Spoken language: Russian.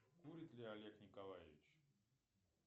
курит ли олег николаевич